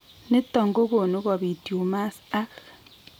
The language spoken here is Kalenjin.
Niton kogonu kobit tumors ak